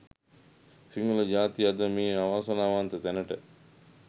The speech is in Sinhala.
සිංහල ජාතිය අද මේ අවාසනාවන්ත තැනට